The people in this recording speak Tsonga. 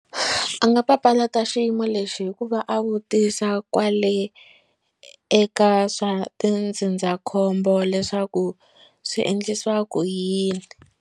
A nga papalata xiyimo lexi hikuva a vutisa kwale eka swa tindzindzakhombo leswaku swi endlisiwa ku yini.